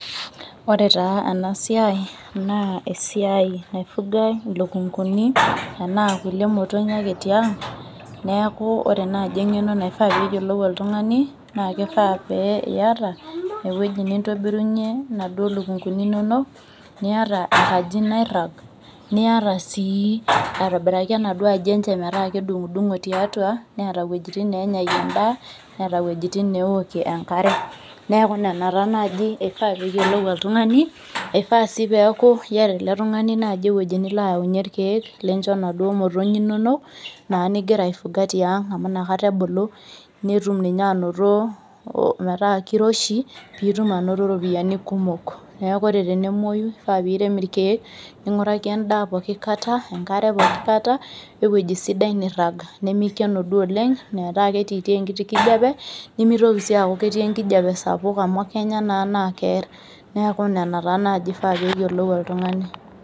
Ore taa ena siai naa esiai naifugae ilukunkuni enaa kulie motonyi ake tiang' neku ore naaji eng'eno naifaa peyiolou oltung'ani naa kifaa pee iyata ewueji nintobirunyie inaduo lukunkuni inonok niyata enkaji nairrag niyata sii aitobiraki enaduo aji enche metaa kedung'udung'o tiatua neeta iwuejitin nenyayie endaa neeta iwuejitin newokie enkare neku nena taa naaji eifaa peyiolou oltung'ani eifaa sii peeku iyata ele tung'ani naaji ewueji nilo ayaunyie irkeek lincho inaduo motonyi inonok naa ningira aifuga tiang amu inakata ebulu netum ninye anoto ometaa kiroshi nitum anoto iropiyiani kumok neku ore tenemuoyu kifaa piirem irkeek ning'uraki endaa poki kata enkare pokikata wewueji sidai nirrag nemikeno duo oleng metaa ketitii enkiti kijape nemitoki sii aaku ketii enkijape sapuk amu kenya naa naa kerr neku nena taa naaji ifaa peyiolou oltung'ani.